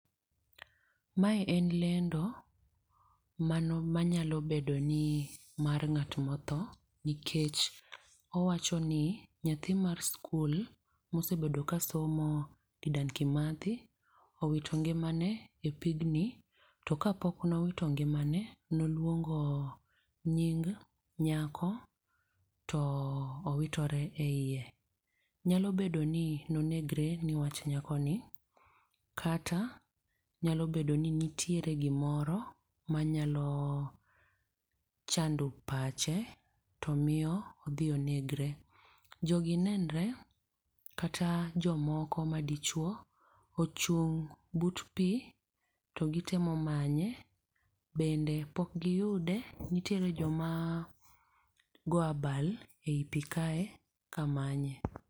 Mae en lendo mano manyalo bedo ni mar ng'at motho, nikech owacho ni nyathi mar skul mosebedo ka somo Dedan Kimathi, owito ngimane e pigni. To kapok nowito ngimane noluongo nying nyako to owitore e iye. Nyalo bedo ni nonegre ni wach nyakoni, kata nyalo bedo ni nitiere gimoro manyalo chando pache to miyo odhi onegre. Jogi nenre, kata jomoko madichuo ochung' but pi, to gitemo manye. Bende pok giyude, nitiere joma go abal e i pi kae kamanye.